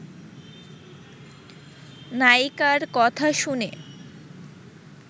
নায়িকার কথা শুনে